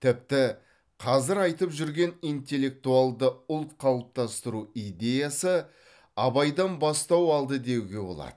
тіпті қазір айтып жүрген интеллектуалды ұлт қалыптастыру идеясы абайдан бастау алды деуге болады